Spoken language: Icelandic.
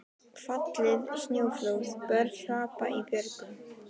Fallið snjóflóð, börn hrapað í björgum.